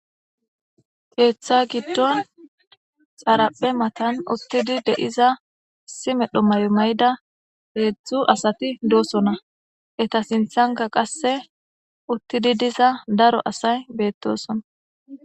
keeththa giddon xaraphe matan uttidi de7iza issi medho may7o mayda heedzdzu asati doosona eta sinthanka qasse uttidi diza daro asay beettosona